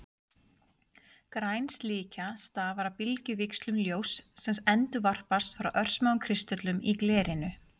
Græn slikja stafar af bylgjuvíxlum ljóss sem endurvarpast frá örsmáum kristöllum í glerinu.